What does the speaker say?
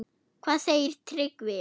Hvað segir Tryggvi?